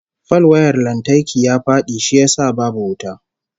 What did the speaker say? Falwayar lantarki ya fadi shi yasa babu wuta